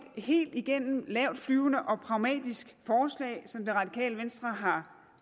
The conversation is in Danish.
helt igennem lavtflyvende og pragmatisk forslag som det radikale venstre har